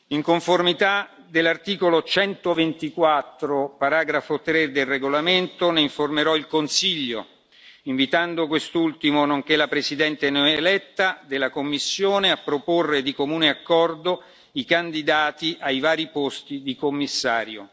In conformità dell'articolo 124, paragrafo 3, del regolamento, ne informerò il Consiglio, invitando quest'ultimo nonché la Presidente neoeletta della Commissione a proporre di comune accordo i candidati ai vari posti di commissario.